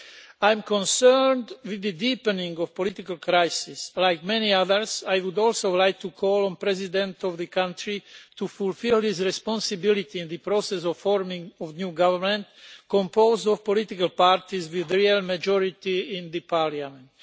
I am concerned at the deepening of the political crisis. Like many others, I would also like to call on the President of the country to fulfil his responsibility in the process of forming a new government composed of political parties with a real majority in the parliament.